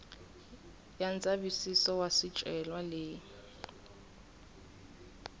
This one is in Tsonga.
ya ndzavisiso wa swicelwa leyi